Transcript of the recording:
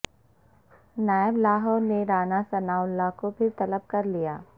NAB Lahore نے Rana Sanaullah کو پھر طلب کرلیا